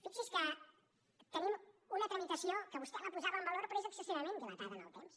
fixi’s que tenim una tramitació que vostè la posava en valor però és excessivament dilatada en el temps